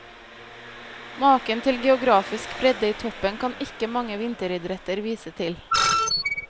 Maken til geografisk bredde i toppen kan ikke mange vinteridretter vise til.